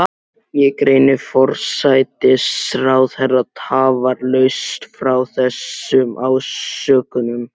Ég greini forsætisráðherra tafarlaust frá þessum ásökunum.